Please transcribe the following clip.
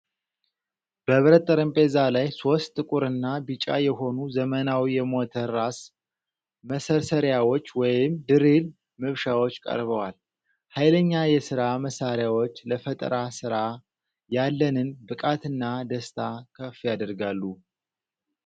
በብረት ጠረጴዛ ላይ ሦስት ጥቁርና ቢጫ የሆኑ ዘመናዊ የሞተር ራስ መሰርሰሪያዎች ወይም ድሪል መብሻዎች ቀርበዋል። ኃይለኛ የሥራ መሣሪያዎች ለፈጠራ ሥራ ያለንን ብቃትና ደስታ ከፍ ያደርጋሉ።